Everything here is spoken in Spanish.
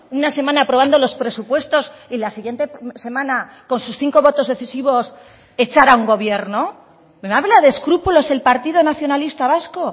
una semana aprobando los presupuestos y la siguiente semana con sus cinco votos decisivos echar a un gobierno me habla de escrúpulos el partido nacionalista vasco